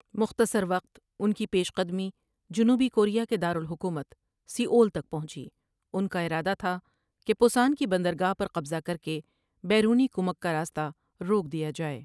مختصر وقت اُن کی پیش قدمی جنوبی کوریا کے دار الحکومت سیئول تک پہنچی اُن کا ارادہ تھا کہ پُسان کی بندرگاہ پر قبضہ کرکے بیرونی کُمک کا راست روک دیا جائے ۔